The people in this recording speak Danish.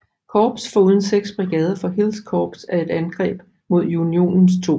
Korps foruden 6 brigader fra Hills Korps i et angreb mod Unionens 2